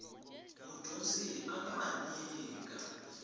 mudyondzi a nga ha nyika